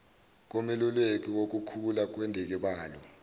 komeluleki wukukhula kwendikibalo